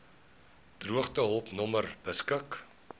droogtehulp nommer beskik